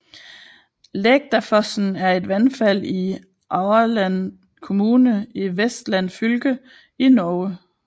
Lægdafossen er et vandfald i Aurland kommune i Vestland fylke i Norge